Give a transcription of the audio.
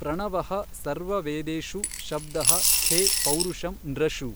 ಪ್ರಣವಃ ಸರ್ವವೇದೇಷು ಶಬ್ದಃ ಖೇ ಪೌರುಷಂ ನೃಷು।